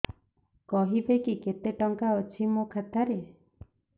କହିବେକି କେତେ ଟଙ୍କା ଅଛି ମୋ ଖାତା ରେ